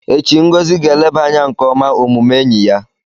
Echi, Ngozi ga-eleba anya nke ọma omume enyi ya.